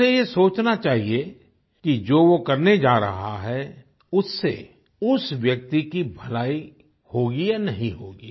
उसे ये सोचना चाहिए कि जो वो करने जा रहा है उससे उस व्यक्ति की भलाई होगी या नहीं होगी